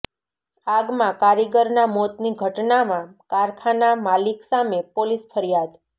આગમાં કારીગરના મોતની ઘટનામાં કારખાના માલિક સામે પોલીસ ફરિયાદ